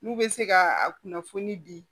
N'u bɛ se ka a kunnafoni di